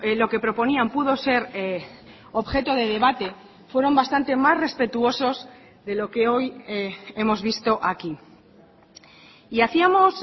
lo que proponían pudo ser objeto de debate fueron bastante más respetuosos de lo que hoy hemos visto aquí y hacíamos